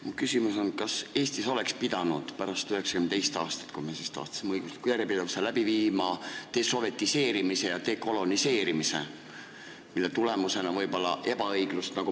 Mu küsimus on, kas Eestis oleks pidanud pärast 1992. aastat, kui me siis tahtsime õiguslikku järjepidevust, läbi viima desovetiseerimise ja dekoloniseerimise, mille tulemusena võib olla ebaõiglust?